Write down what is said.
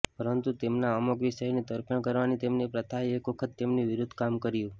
પરંતુ તેમના અમુક વિષયોની તરફેણ કરવાની તેમની પ્રથાએ એક વખત તેમની વિરુદ્ધ કામ કર્યું